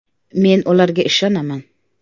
Men ularga ishonaman!